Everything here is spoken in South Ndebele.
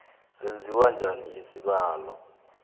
senziwa bunjani isibawo